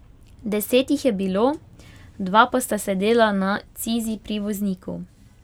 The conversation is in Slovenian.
Deset jih je bilo, dva pa sta sedela na cizi pri vozniku.